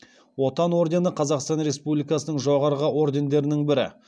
отан ордені қазақстан республикасының жоғарғы ордендерінің бірі